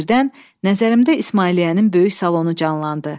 Birdən, nəzərimdə İsmailliyənin böyük salonu canlandı.